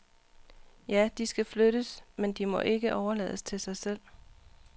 Ja, de skal flyttes, men de må ikke overlades til sig selv.